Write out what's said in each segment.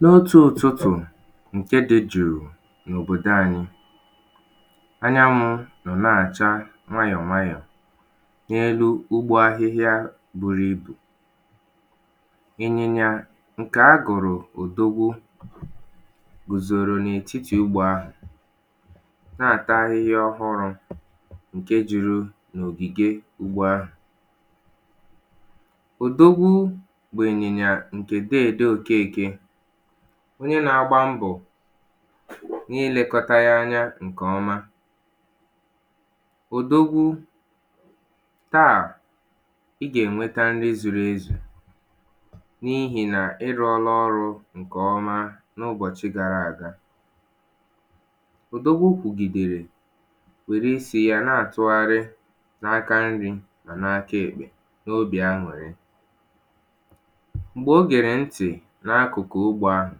N’otù ụtụtụ nke dị juù n’òbodò anyị anyanwụ nọ na-achà nwayọ̀ nwayọ̀ nyelu ugbo ahịhịà buru ibù ịnyịnya nke agụrụ̀ odogwù guzoro n’etiti ugbo ahụ̀ na-atà ahịhịà ọhụrụ nke juru n’ogige ugbo ahụ̀ odogwu bụ̀ ịnịnyà nke dede Okekè onye na-agba mbọ̀ na-ilekọtà yà nke ọmà odogwu taa ị ga-enwetà nrì zuru ezù n’ihi na ị rụọlà ọrụ̀ nke ọmà n’ụbọchị̀ gaara agà odogwù kwugiderè werè isi yà na-atụgharị̀ n’aka nrì ma n’akà ekpè n’obì an̄ụrị̀ m̄gbe o gere ntị̀ n’akụkụ̀ ugbo ahụ̀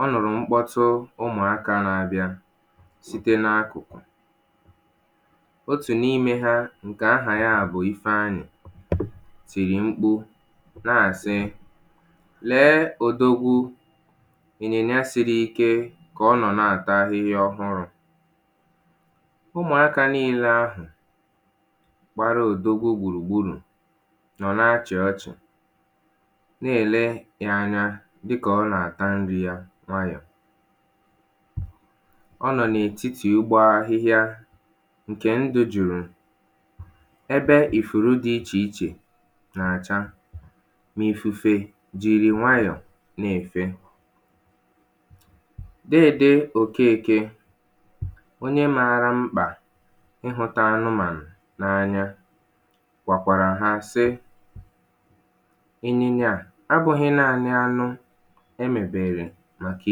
ọ nụrụ̀ m̄kpọtụ̀ ụmụakà na-abịà sitē n’akụkụ̀ otù n’ime ha nke aha ya bụ̀ Ifeanyị̀ tirì m̄kpu na-asị̀ lee odogwù ịnyịnyà siri ike ka ọ na-atà ahịhịà ọhụrụ ụmụakà niile ahụ̀ gbara odogwù gburugburù nọ̀ na-achị̀ ọchị̀ na-ele ya anya dịkà ọ na-atà nrì yà nwayọ̀ ọ nọ n’etiti ugbo ahịhịà nke ndụ̀ jurù ebe ifurù dị iche ichè na-acha n’ifufe jiri nwayọ̀ na-efè dede Okeke onye maarà m̄kpà ịhụtà anụmanụ̀ n’anya gwakwarà ha sị ịnyịnyà abụghị̀ naanị̀ anụ̀ emebere makà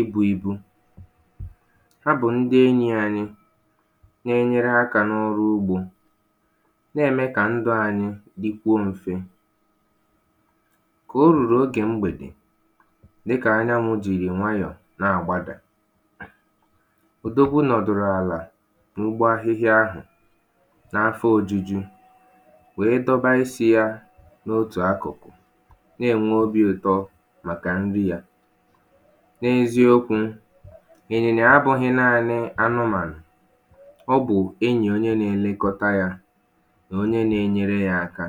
ibu ibu ha bụ̀ ndị̀ enyi anyị na-enyere aka nọ ọrụ̀ ugbò na-eme kà ndụ̀ anyị dikwuo mfè ka o ruru oge m̄gbedè dịkà anyanwụ̀ jiri nwayọ̀ na-agbadà odogwù nọdụrụ̀ alà n’ugbò ahịhịà ahụ̀ n’afọ ojujù wee dọba isi yà n’otù akụ̀ na-enwe obì ụtọ makà nrì yà n’eziokwù ịnyịnyà abụghị̀ naanị̀ anụmanụ̀ ọ bụ̀ enyì onye na-elekotà yà na onye na-enyere yà akà